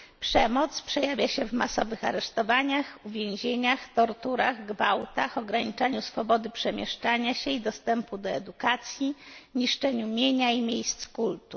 Przemoc przejawia się w masowych aresztowaniach, uwięzieniach, torturach, gwałtach, ograniczaniu swobody przemieszczania się i dostępu do edukacji, niszczeniu mienia i miejsc kultu.